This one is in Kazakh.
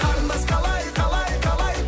қарындас қалай қалай қалай